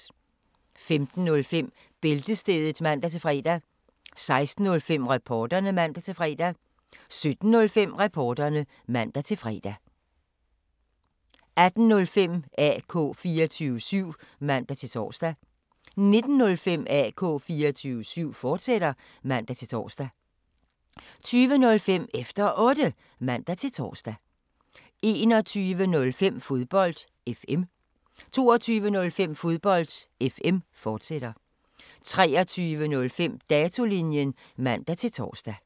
15:05: Bæltestedet (man-fre) 16:05: Reporterne (man-fre) 17:05: Reporterne (man-fre) 18:05: AK 24syv (man-tor) 19:05: AK 24syv, fortsat (man-tor) 20:05: Efter Otte (man-tor) 21:05: Fodbold FM 22:05: Fodbold FM, fortsat 23:05: Datolinjen (man-tor)